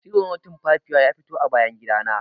Tsiro na tumfafiya ya fito a bayan gida na